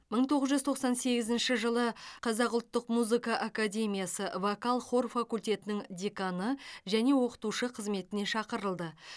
мың тоғыз жүз тоқсан сегізінші жылы қазақ ұлттық музыка академиясы вокал хор факультетінің деканы және оқытушы қызметіне шақырылды